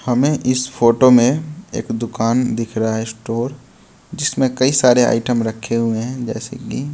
हमें इस फोटो में एक दुकान दिख रहा है स्टोर जिसमें कई सारे आइटम रखे हुए हैं जैसे कि--